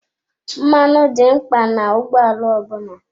Mmanụ dị mkpa na ụgbọ ala ọ bụla.